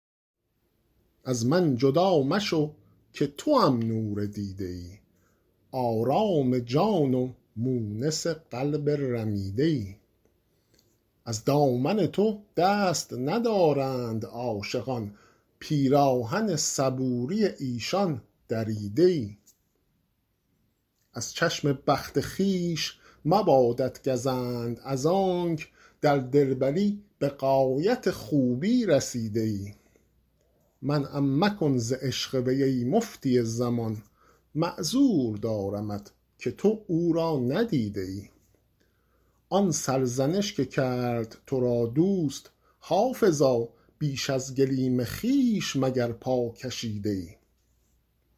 از من جدا مشو که توام نور دیده ای آرام جان و مونس قلب رمیده ای از دامن تو دست ندارند عاشقان پیراهن صبوری ایشان دریده ای از چشم بخت خویش مبادت گزند از آنک در دلبری به غایت خوبی رسیده ای منعم مکن ز عشق وی ای مفتی زمان معذور دارمت که تو او را ندیده ای آن سرزنش که کرد تو را دوست حافظا بیش از گلیم خویش مگر پا کشیده ای